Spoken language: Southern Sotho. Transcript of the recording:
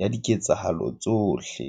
ya diketsahalo tsohle.